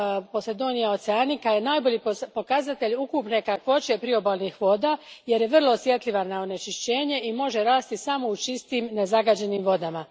Posidonia oceanica je najbolji pokazatelj ukupne kakvoće priobalnih voda jer je vrlo osjetljiva na onečišćenje i može rasti samo u čistim, nezagađenim vodama.